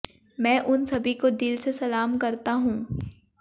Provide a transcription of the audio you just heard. मैं उन सभी को दिल से सलाम करता हूं